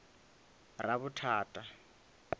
ravhuthata